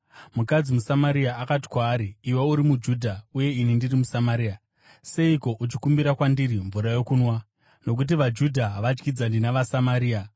Mukadzi muSamaria akati kwaari, “Iwe uri muJudha uye ini ndiri muSamaria. Seiko uchikumbira kwandiri mvura yokunwa?” (Nokuti vaJudha havadyidzani navaSamaria.)